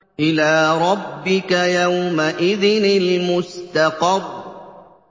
إِلَىٰ رَبِّكَ يَوْمَئِذٍ الْمُسْتَقَرُّ